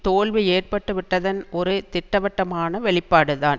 தோல்வி ஏற்பட்டுவிட்டதன் ஒரு திட்டவட்டமான வெளிப்பாடுதான்